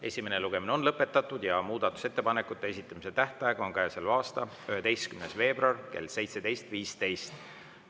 Esimene lugemine on lõpetatud ja muudatusettepanekute esitamise tähtaeg on käesoleva aasta 11. veebruar kell 17.15.